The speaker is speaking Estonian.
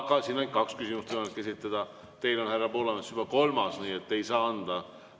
Aga siin on ainult kaks küsimust võimalik esitada, teil on, härra Poolamets, see juba kolmas, nii et ei saa võimalust anda.